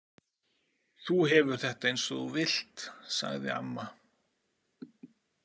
Þú hefur þetta eins og þú vilt, sagði amma.